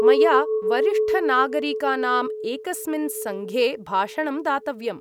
मया वरिष्ठनागरिकानाम् एकस्मिन् संघे भाषणं दातव्यम्।